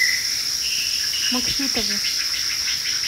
максютову